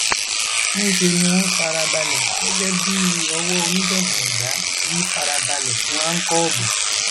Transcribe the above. níṣẹ ni wọn fara balẹ gẹgẹ bíi owó oníjàngbọn ẹdà tí í fara balẹ fún àkóòbù